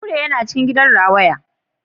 Kure yana cikin gidan rawaya